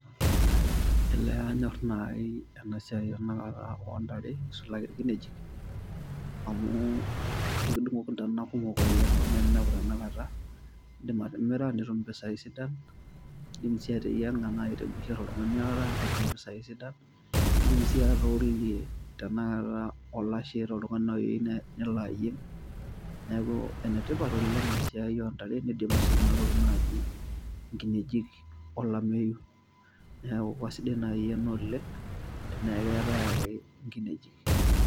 Elee kanyor nai enasia tanakata oontare isulaki nkinejik amu ekidungoki ntana kumok oleng amu ore tanakata indim atimira nitum mpisai sidan, indim sii nai atimira oltungani oota netum mpisai sidan ,indim naa atoolunye olashe tanakata toltungani nai oyieu nelo ayieng neaku enetipat oleng esiai ontare nidim sii nai enatoki naji nkinejik olameyu, neaku kesidai nai ena oleng tenekeetae ake nkinejik.